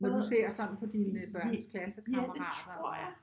Når du ser sådan på dine børns klassekammerater